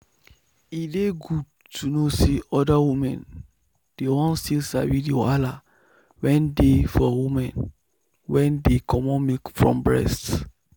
e dey good to know say other women dey won still sabi the wahala wen dey for women wen dey comot milk from um breast.